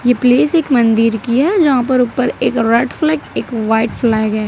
Place एक मंदिर की है जहां पर ऊपर एक रेड फ्लैग एक व्हाइट फ्लैग है।